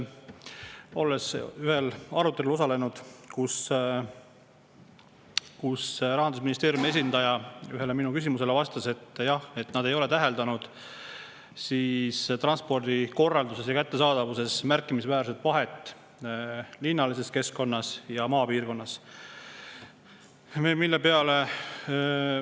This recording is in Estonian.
Ma osalesin ühel arutelul, kus Rahandusministeeriumi esindaja vastas ühele minu küsimusele, et jah, nad ei ole linnalise keskkonna ja maapiirkonna transpordikorralduses ja kättesaadavuses märkimisväärset vahet täheldanud.